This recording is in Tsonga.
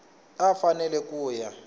a a fanele ku ya